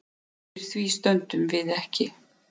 Undir því stöndum við ekki